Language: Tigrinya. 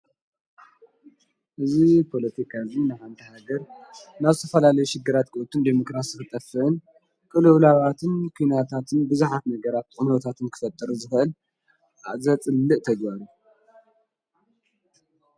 እዝ ጶሎቲካዝን ንሓንዳሃገር ናስፋላለዩ ሽግራት ቀወትን ዴሞክራስ ኽጠፍን ክልብላዋትን ኲናታትን ብዛኃት ነገራ ቕነወታትን ክፈጥር ዘሀል ኣዘጽልእ ተግባር እዩ።